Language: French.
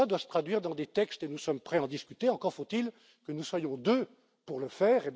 Tout cela doit se traduire dans des textes et nous sommes prêts à en discuter, encore faut il que nous soyons deux pour le faire.